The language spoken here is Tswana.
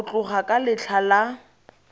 go tloga ka letlha la